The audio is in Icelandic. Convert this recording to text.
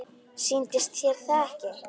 Sýnist þér það ekki?